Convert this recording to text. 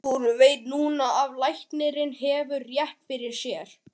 Og hún veit núna að læknirinn hefur rétt fyrir sér.